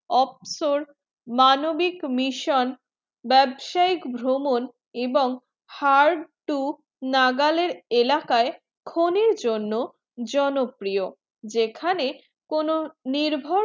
অবসর মানবিক mission বেব্সায়িক ভ্রমণ এবং হার তো নাগালের ইকালাকায়ে ক্ষনে জন্য জন প্রিয় যেখানে কোনো নির্ভর